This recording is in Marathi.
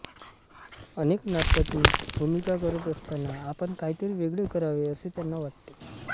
अनेक नाटकांतून भूमिका करत असताना आपण काहीतरी वेगळे करावे असे त्यांना वाटे